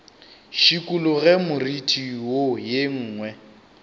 šikologe moriti wo ye nngwe